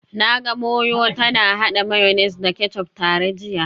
Na ga Moyo tana hada mayonnaise da ketchup tare jiya